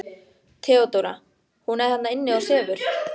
THEODÓRA: Hún er þarna inni og sefur.